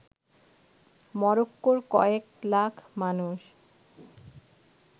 মরক্কোর কয়েক লাখ মানুষ